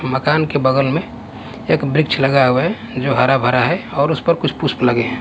मकान के बगल में एक वृक्ष लगा हुआ है जो हरा भरा है और उस पर कुछ पुष्प लगे हैं।